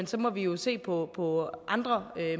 så må vi jo se på på andre